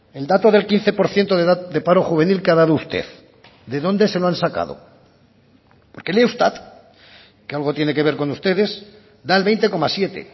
el dato del quince por ciento de paro juvenil que ha dado usted de dónde se lo han sacado porque el eustat que algo tiene que ver con ustedes da el veinte coma siete